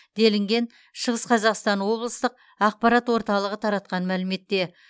делінген шығым қазақстан облыстық ақпарат орталығы таратқан мәліметте